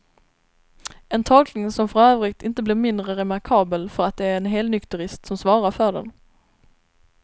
En tolkning som för övrigt inte blir mindre remarkabel för att det är en helnykterist som svarar för den.